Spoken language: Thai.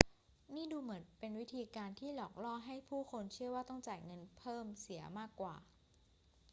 นี่ดูเหมือนเป็นวิธีการหลอกล่อให้ผู้คนเชื่อว่าต้องจ่ายเงินเพิ่มเสียมากกว่า